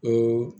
O